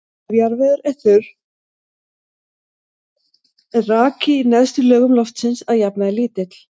Ef jarðvegur er þurr er raki í neðstu lögum loftsins að jafnaði lítill.